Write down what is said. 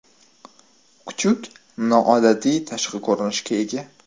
Kuchuk noodatiy tashqi ko‘rinishga ega.